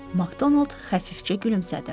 Makdonald xəfifcə gülümsədi.